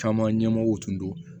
Caman ɲɛmɔgɔw tun don